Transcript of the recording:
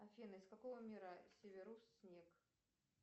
афина из какого мира северус снег